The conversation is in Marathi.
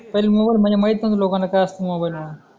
पहिले मोबाईल म्हणजे माहित नव्हता लोकांना काय असतो मोबाईल म्हणून